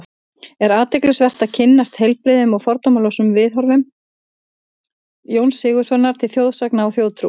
Er athyglisvert að kynnast heilbrigðum og fordómalausum viðhorfum Jóns Sigurðssonar til þjóðsagna og þjóðtrúar.